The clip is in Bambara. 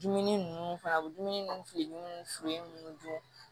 Dumuni nunnu fana a bi dumuni mun fili munnu furen ninnu dun